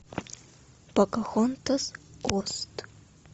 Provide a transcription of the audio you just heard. покахонтас ост